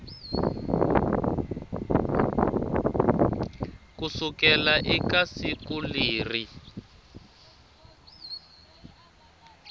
ku sukela eka siku leri